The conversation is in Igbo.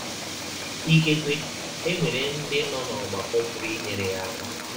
Ikekwe e nwere ndị nọ n’ọgbakọ pụrụ inyere ya aka.